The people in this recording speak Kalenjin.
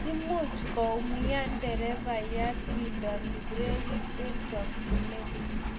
muuch koumian nderefayat kindeno brekit eng chakchinet